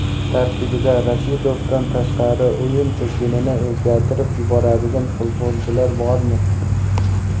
Tarkibda Rashidovdan tashqari o‘yin tizginini o‘zgartirib yuboradigan futbolchilar bormi?